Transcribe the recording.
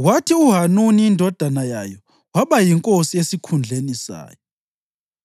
kwathi uHanuni indodana yayo waba yinkosi esikhundleni sayo.